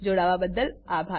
જોડાવાબદ્દલ આભાર